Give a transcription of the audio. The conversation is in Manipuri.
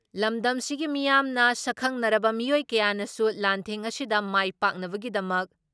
ꯂꯝꯗꯝꯁꯤꯒꯤ ꯃꯤꯌꯥꯝꯅ, ꯁꯛꯈꯪꯅꯔꯕ ꯃꯤꯑꯣꯏ ꯀꯌꯥꯅꯁꯨ ꯂꯥꯟꯊꯦꯡ ꯑꯁꯤꯗ ꯃꯥꯏ ꯄꯥꯛꯅꯕꯒꯤꯗꯃꯛ